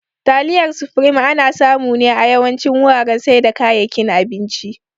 Taliyar supreme ana samu ne a yawancin wuraren saida kayakin abinci